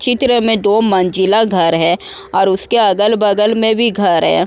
चित्र में दो मंजिला घर है और उसके अगल वगल में भी घर है।